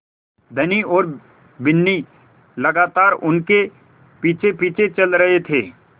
धनी और बिन्नी लगातार उनके पीछेपीछे चल रहे थे